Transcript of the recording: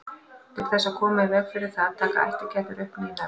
Til þess að koma í veg fyrir það taka ættingjarnir upp ný nöfn.